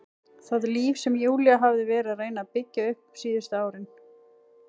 Það líf sem Júlía hafði verið að reyna að byggja upp síðustu árin.